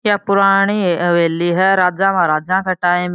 ये पुराणी हवेली है राजा महाराजा के टाइम --